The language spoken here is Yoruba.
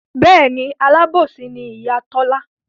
Bẹ́ẹ̀ni alábòsí ni Ìyá Tọ́lá